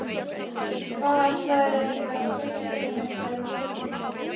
Hvað ætlarðu eiginlega að segja við hana þegar þið hittist?